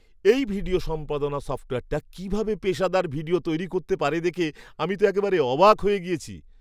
এই ভিডিও সম্পাদনা সফ্টওয়্যারটা কীভাবে পেশাদার ভিডিও তৈরি করতে পারে দেখে আমি তো একেবারে অবাক হয়ে গিয়েছি।